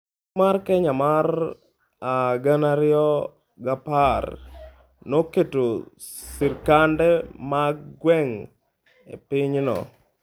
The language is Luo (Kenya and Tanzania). Chik mar Kenya mar 2010 noketo sirkande mag gwenge e pinyno.